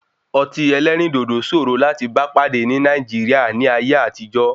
Ọtí ẹlẹ́rìndòdò sòòro láti bá pàdé ní Nàìjíríà ní ayé àtijó.